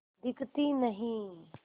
दिखती नहीं